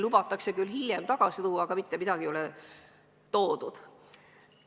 Lubatakse küll hiljem vana olukord taastada, aga mitte midagi ei ole taastatud.